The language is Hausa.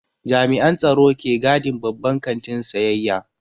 Jami'an tsaro ke gadin babban kantin sayayya.